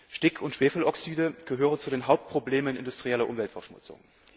Stick und Schwefeloxyde gehören zu den Hauptproblemen industrieller Umweltverschmutzung.